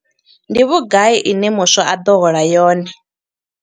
Ndi vhugai ine muswa a ḓo hola yone?